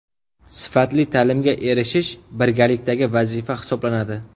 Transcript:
Sifatli ta’limga erishish birgalikdagi vazifa hisoblanadi.